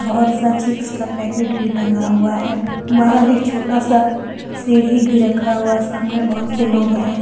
बहुत सा चिप्स का पैकेट भी टंगा हुआ हैबाहर एक छोटा सा सीढ़ी भी रखा हुआ हैसामने बहुत से लोग हैं।